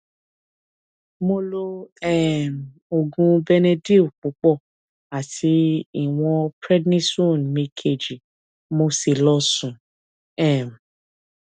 mo lo um oògùn benedyl púpọ àti ìwọn prednisone mi kejì mo sì lọ sùn um